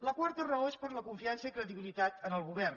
la quarta raó és per la confiança i credibilitat en el govern